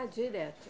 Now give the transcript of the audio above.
Ah, direto.